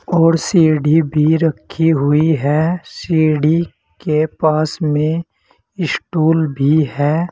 और सीढ़ी भी रखी हुई है सीढ़ी के पास में स्टूल भी है।